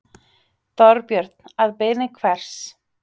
Þorbjörn: Að beiðni hvers?